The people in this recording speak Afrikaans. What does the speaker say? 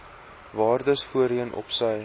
waardes voorheen opsy